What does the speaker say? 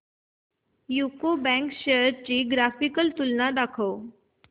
UCO bank shares ची graphical तुलना दाखव